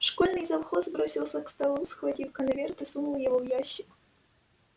школьный завхоз бросился к столу схватил конверт и сунул его в ящик